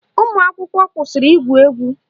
Ụmụakwụkwọ kwụsịrị igwu egwu